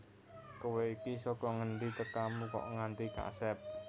Kowe iki saka ngendi tekamu kok nganti kasep